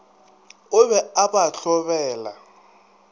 o be a ba hlobela